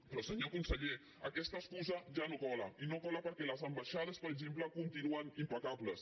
però senyor conseller aquesta excusa ja no cola i no cola perquè les ambaixades per exemple continuen impecables